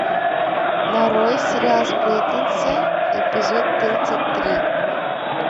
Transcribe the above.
нарой сериал сплетницы эпизод тридцать три